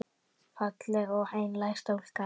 Falleg og einlæg stúlka.